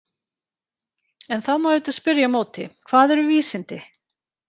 En þá má auðvitað spyrja á móti: Hvað eru vísindi?